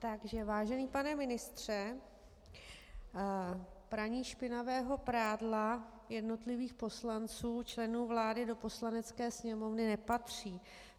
Takže vážený pane ministře, praní špinavého prádla jednotlivých poslanců - členů vlády, do Poslanecké sněmovny nepatří.